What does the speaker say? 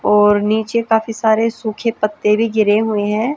और नीचे काफी सारे सूखे पत्ते भी गिरे हुए हैं।